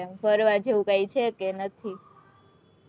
ફરવા જેવું કઈ છે કે નથી?